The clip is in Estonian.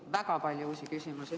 Väga palju uusi küsimusi.